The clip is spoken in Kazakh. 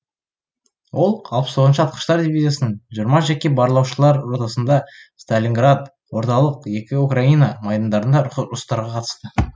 ол алпыс тоғызыншы атқыштар дивизиясының жиырма жеке барлаушылар ротасында сталинград орталық екі украина майдандарында ұрыстарға қатысты